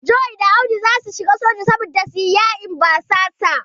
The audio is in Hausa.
John da Audu zasu shiga soja don su yi fada yaƙin basasan.